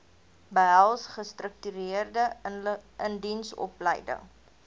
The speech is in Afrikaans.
behels gestruktureerde indiensopleiding